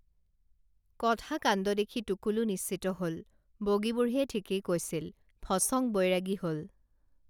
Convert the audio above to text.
কথা কাণ্ড দেখি টুকুলু নিশ্চিত হল বগী বুঢ়ীয়ে ঠিকেই কৈছিল ফচং বৈৰাগী হল